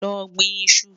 Lọ́ gbìn ìṣù.